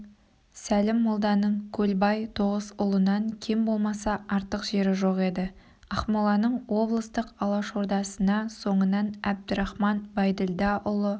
сәлім молданың көлбай тоғысұлынан кем болмаса артық жері жоқ еді ақмоланың облыстық алашордасына соңынан әбдірахман байділдаұлы